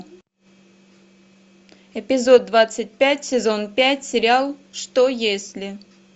эпизод двадцать пять сезон пять сериал что если